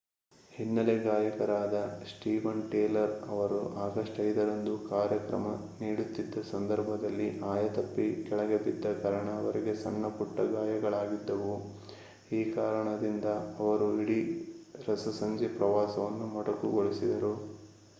ಹಿನ್ನೆಲೆ ಗಾಯಕರಾದ Steven Tyler ಅವರು ಆಗಸ್ಟ್ 5 ರಂದು ಕಾರ್ಯಕ್ರಮ ನೀಡುತ್ತಿದ್ದ ಸಂದರ್ಭದಲ್ಲಿ ಆಯತಪ್ಪಿ ಕೆಳಗೆ ಬಿದ್ದ ಕಾರಣ ಅವರಿಗೆ ಸಣ್ಣಪುಟ್ಟ ಗಾಯಗಳಾಗಿದ್ದವು ಈ ಕಾರಣದಿಂದ ಅವರು ಇಡೀ ರಸಸಂಜೆ ಪ್ರವಾಸವನ್ನು ಮೊಟಕುಗೊಳಿಸಿದರು